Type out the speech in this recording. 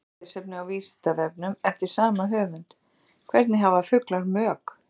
Frekara lesefni á Vísindavefnum eftir sama höfund: Hvernig hafa fuglar mök?